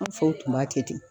An faw. u tun b'a kɛ ten